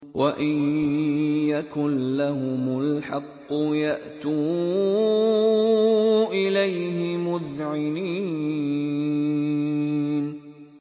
وَإِن يَكُن لَّهُمُ الْحَقُّ يَأْتُوا إِلَيْهِ مُذْعِنِينَ